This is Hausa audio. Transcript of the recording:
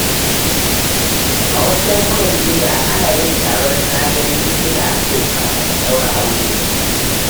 A wasu yankunan duniya, ana yin taron na-gani-ina-so kafin a ɗaura aure.